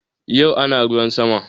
Yau ana ruwan sama